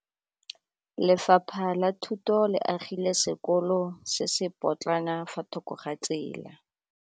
Lefapha la Thuto le agile sekôlô se se pôtlana fa thoko ga tsela.